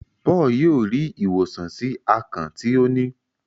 Paul yíò rí ìwòsàn sí akàn tí o ní.